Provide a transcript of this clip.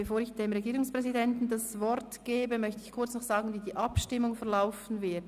Bevor ich dem Regierungspräsidenten das Wort gebe, möchte ich noch kurz informieren, wie die Abstimmung verlaufen wird.